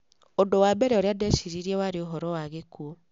Ũndũ wa mbere ũrĩa ndeciririe warĩ ũhoro wa gĩkuũ. ''